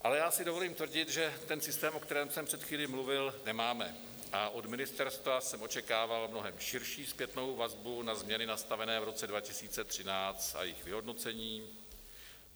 Ale já si dovolím tvrdit, že ten systém, o kterém jsem před chvílí mluvil, nemáme, a od ministerstva jsem očekával mnohem širší zpětnou vazbu na změny nastavené v roce 2013 a jejich vyhodnocení.